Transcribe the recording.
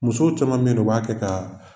Musow caman beyi nɔ u b'a kɛ ka